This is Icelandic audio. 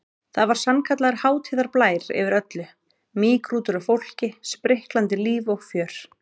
Það var sannkallaður hátíðarblær yfir öllu, mýgrútur af fólki, spriklandi líf og fjör.